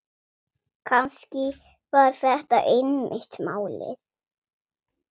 Kannski var þetta einmitt málið.